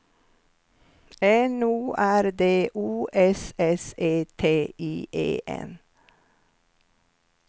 N O R D O S S E T I E N